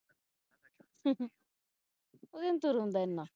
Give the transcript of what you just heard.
ਉਹਦੇ ਤੋਂ ਨਹੀਂ ਤੁਰ ਹੁੰਦਾ ਏ ਨਾ